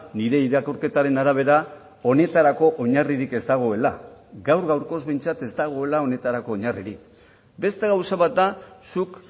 nire irakurketaren arabera honetarako oinarririk ez dagoela gaur gaurkoz behintzat ez dagoela honetarako oinarririk beste gauza bat da zuk